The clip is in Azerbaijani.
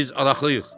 biz arxalıyıq.